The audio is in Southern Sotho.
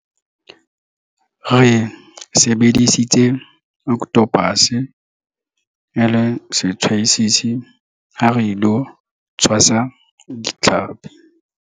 Re sebedisitse okothopase e le setshwasisi ha re ilo tshwasa ditlhapi.